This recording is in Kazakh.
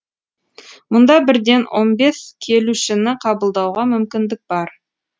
мұнда бірден он бес келушіні қабылдауға мүмкіндік бар